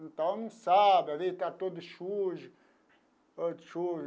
Então não sabe, às vezes está todo sujo todo sujo.